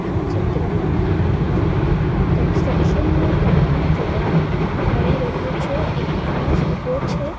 આ ચિત્રમાં આપને કન્સ્ટ્રકશન નું કામ જોવા મળી રહ્યું છે એક માણસ ઉભો છે.